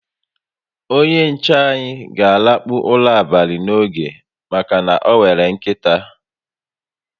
Onye nche anyi ga a lakpu ụra abalị n'oge maka na onwere nkịta